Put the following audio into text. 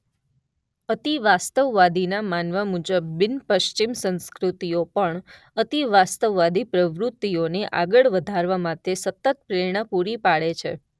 અતિવાસ્તવવાદીના માનવા મુજબ બિન પશ્ચિમ સંસ્કૃતિઓ પણ અતિવાસ્તવવાદી પ્રવૃતિઓને આગળ વધારવા માટે સતત પ્રેરણા પૂરી પાડે છે.